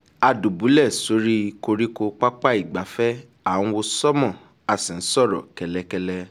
a dùbúlẹ̀ sórí koríko pápá ìgbafẹ́ à ń wo sánmọ̀ a sì ń sọ̀rọ̀ kẹ́lẹ́ kẹ́lẹ́